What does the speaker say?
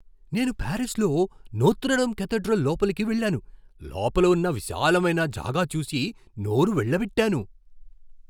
నేను పారిస్లో Notre Dame cathedral లోపలికి వెళ్ళాను, లోపల ఉన్న విశాలమైన జాగా చూసి నోరు వెళ్ళబెట్టాను.